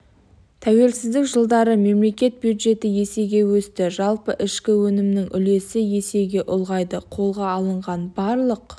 тәуелсіздік жылдары мемлекет бюджеті есеге өсті жалпы ішкі өнімнің үлесі есеге ұлғайды қолға алынған барлық